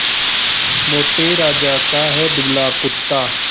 मोटे राजा का है दुबला कुत्ता